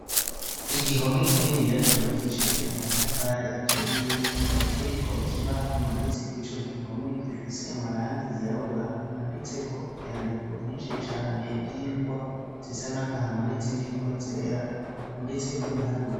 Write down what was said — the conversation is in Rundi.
Igihome kininiya cubakishije amatafari aturiye, kikaba kiriko ikibaho kimaditse kwico gihome gifise amarangi yirabura handitseko ivyandiko vyinshi cane vy'ingwa zisa n'agahama nizindi ngwa zera handitseko ibiharure.